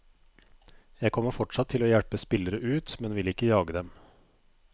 Jeg kommer fortsatt til å hjelpe spillere ut, men vil ikke jage dem.